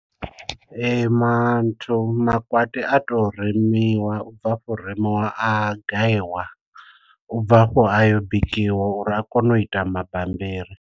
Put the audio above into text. Manthu makwati a to remiwa u bva afho u remiwa a gayiwa u bva hafho a yo bikiwa uri a kone u ita mabammbiri.